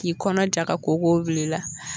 K'i kɔnɔ ja ka kooko bil'ila